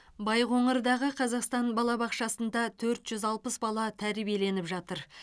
байқоңырдағы қазақстан балабақшасында төрт жүз алпыс бала тәрбиеленіп жатыр